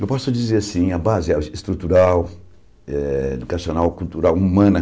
Eu posso dizer assim, a base eh estrutural, educacional, cultural, humana.